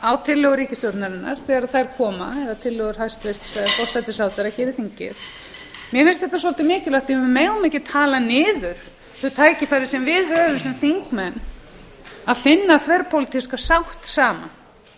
á tillögur ríkisstjórnarinnar þegar þær koma tillögur forsætisráðherra inn í þingið mér finnst þetta svolítið mikilvægt því að við megum ekki tala niður þau tækifæri sem við höfum sem þingmenn að finna þverpólitíska sátt saman